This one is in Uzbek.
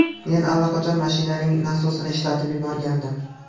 Men allaqachon mashinaning nasosini ishlatib yuborgandim.